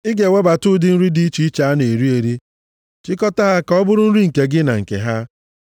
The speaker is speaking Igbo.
Ị ga-ewebata ụdị nri dị iche iche a na-eri eri, chịkọtaa ha ka ọ bụrụ nri nke gị na nke ha.”